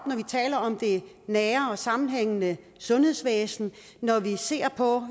taler om det nære og sammenhængende sundhedsvæsen når vi ser på